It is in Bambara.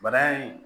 Bana in